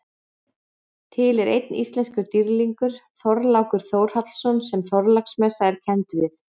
Til er einn íslenskur dýrlingur, Þorlákur Þórhallsson sem Þorláksmessa er kennd við.